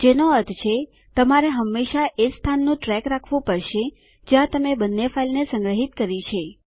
જેનો અર્થ છે તમારે હંમેશા એ સ્થાનનું ટ્રેક રાખવું પડશે જ્યાં તમે બંને ફાઈલને સંગ્રહીત કરી છે